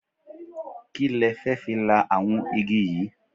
Kí le fẹ́ fi la àwọn igi yìí?